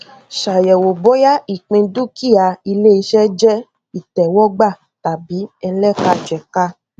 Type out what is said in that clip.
ṣayẹwo bóyá ìpín dúkìá iléiṣẹ jẹ ìtẹwọgbà tàbí ẹlẹkajẹka